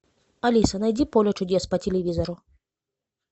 алиса найди поле чудес по телевизору